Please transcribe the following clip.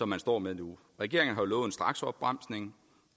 man står med nu regeringen har lovet en straksopbremsning